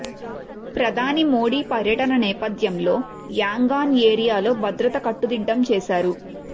ప్రధాని మోడీ పర్యటన నేపథ్యంలో యాంగాన్ ఏరియాలో భద్రత కట్టుదిట్టం చేశారు